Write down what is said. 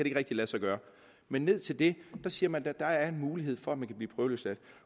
ikke rigtig lade sig gøre men ned til det siger man at der er der en mulighed for at man kan blive prøveløsladt